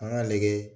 An k'an nɛgɛ